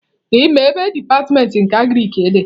Ị maa ebe dipatịmentị nke Agriki dị?